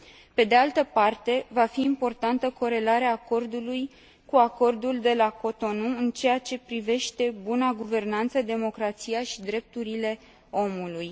Pe de altă parte, va fi importantă corelarea Acordului cu Acordul de la Cotonou în ceea ce privește buna guvernanță, democrația și drepturile omului.